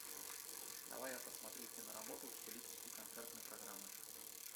давай я посмотрю киноработу в стилистике концертной программы